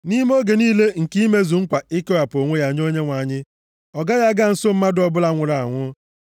“ ‘Nʼime oge niile nke imezu nkwa ikewapụ onwe ya nye Onyenwe anyị, ọ gaghị aga nso mmadụ ọbụla nwụrụ anwụ,